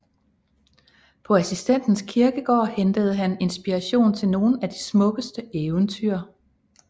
På Assistens Kirkegård hentede han inspiration til nogle af de smukkeste eventyr